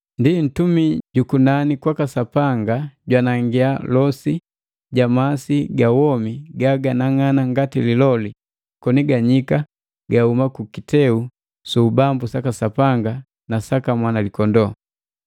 Ndi mtumi ju kunani kwaka Sapanga jwanangia losi ja masi ga womi gaganang'ana ngati liloli, koni ganyika gahuma kukiteu su ubambu saka Sapanga na saka Mwanalikondoo.